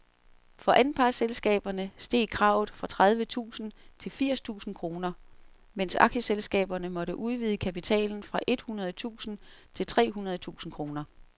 For anpartsselskaberne steg kravet fra tredive tusind til firs tusind kroner, mens aktieselskaberne måtte udvide kapitalen fra et hundrede tusind til tre hundrede tusind kroner.